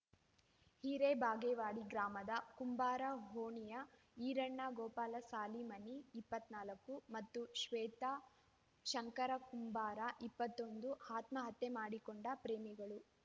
ಹಿರೇಬಾಗೇವಾಡಿ ಗ್ರಾಮದ ಕುಂಬಾರ ಓಣಿಯ ಈರಣ್ಣ ಗೋಪಾಲ ಸಾಲಿಮನಿ ಇಪ್ಪತ್ತ್ ನಾಲ್ಕು ಮತ್ತು ಶ್ವೇತಾ ಶಂಕರ ಕುಂಬಾರ ಇಪ್ಪತ್ತೊಂದು ಆತ್ಮಹತ್ಯೆ ಮಾಡಿಕೊಂಡ ಪ್ರೇಮಿಗಳು